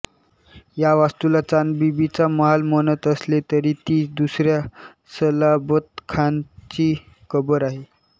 या वास्तूला चांदबिबीचा महाल म्हणत असले तरी ती दुसऱ्या सलाबतखानाची कबर आहे